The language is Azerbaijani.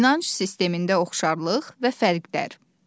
İnanc sistemində oxşarlıq və fərqlər.